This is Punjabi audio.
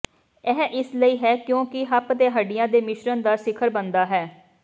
ਇਹ ਇਸ ਲਈ ਹੈ ਕਿਉਂਕਿ ਹੱਪ ਦੇ ਹੱਡੀਆਂ ਦੇ ਮਿਸ਼ਰਣ ਦਾ ਸਿਖਰ ਬਣਦਾ ਹੈ